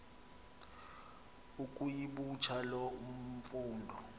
ukuyibutha loo mfundo